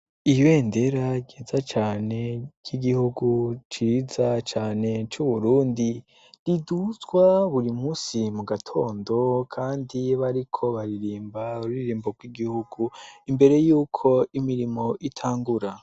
Ibendera ryiza cane ry'igihugu ciza cane c'Uburundi riduzwa buri musi mu gatondo kandi bariko baririmba ururirimbo rw'igihugu imbere yuko imirimo itangura.